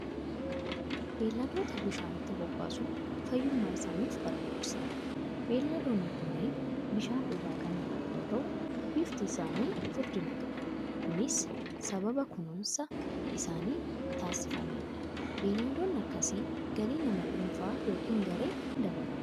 Beeyladoota bishaanitti bobbaasuun fayyummaa isaaniif barbaachisaadha. Beeyladoonni kunnnneen bishaan dhugaa kan jiran yoo ta'u, bifti isaanii furdina qaba. Kunis sababa kunuunsa isaaniif taasifameenidha. Beeyladoonni akkasii galii nama dhuunfaa yookiin garee ni dabalu.